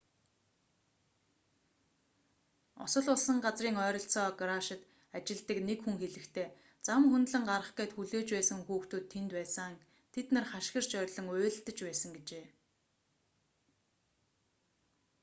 осол болсон газрын ойролцоо гараашид ажилладаг нэг хүн хэлэхдээ зам хөндлөн гарах гээд хүлээж байсан хүүхдүүд тэнд байсан тэд нар хашгирч орилон уйлалдаж байсан гэжээ